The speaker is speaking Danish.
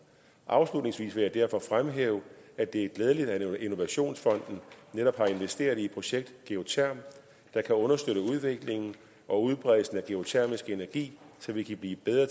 afslutningsvis vil jeg derfor fremhæve at det er glædeligt at innovationsfonden netop har investeret i et projekt geotherm der kan understøtte udviklingen og udbredelsen af geotermisk energi så vi kan blive bedre